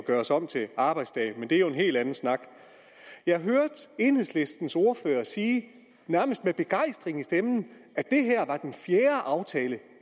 laves om til arbejdsdage men det er jo en helt anden snak jeg hørte enhedslistens ordfører sige nærmest med begejstring i stemmen at det her var den fjerde aftale